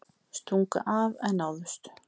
Stungu af en náðust